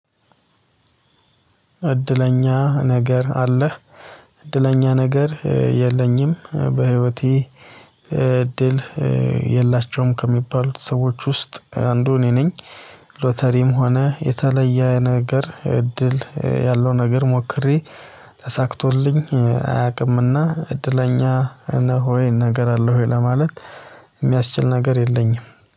እድለኛ ነገር አለህ? እድለኛ ነገር የለኝም በህይወቴ እድል የላቸውም ከሚባሉት ሰዎች ውስጥ አንዱ እኔ ነኝ። ሎተሪም ሆነ የተለየ ነገር እድል ያለው ነገር ሞክሬ ተሳክቶልኝ አያውቅም። እና እድለኛ ነህ ወይ ነገር አለህ ወይ ለማለት የሚያስችል ነገር የለኝም